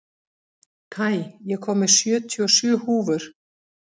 Kai, ég kom með sjötíu og sjö húfur!